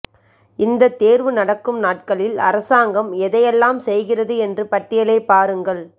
இந்த தேர்வு நடக்கும் நாட்களில் அரசாங்கம் எதை எல்லாம் செய்கிறது என்ற பட்டியலை பாருங்கள்